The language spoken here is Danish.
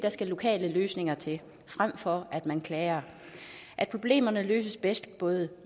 skal lokale løsninger til frem for at man klager at problemerne løses bedst både